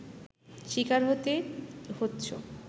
শিকার হতে হচ্ছ